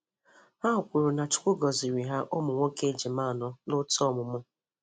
Ha kwuru na Chukwu gọziri ha ụmụ nwoke ejima anọ notu ọmụmụ.